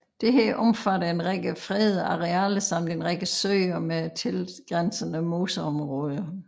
Dette omfatter en række fredede arealer samt en række søer med tilgrænsende moseområder